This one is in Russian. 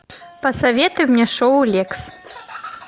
посоветуй мне шоу лекс